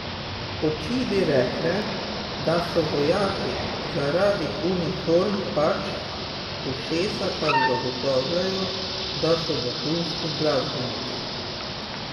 Oči bi rekle, da so vojaki, zaradi uniform pač, ušesa pa zagotavljajo, da so vrhunski glasbeniki.